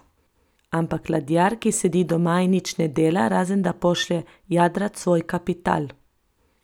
Ampak ladjar, ki sedi doma in nič ne dela, razen da pošlje jadrat svoj kapital?